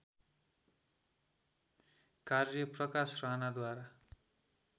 कार्य प्रकाश राणाद्वारा